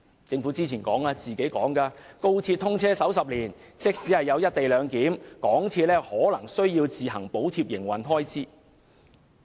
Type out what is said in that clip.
政府早前說，高鐵通車首10年，即使有"一地兩檢"，香港鐵路有限公司可能仍需要自行補貼營運開支。